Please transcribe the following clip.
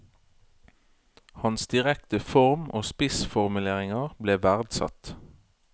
Hans direkte form og spissformuleringer ble verdsatt.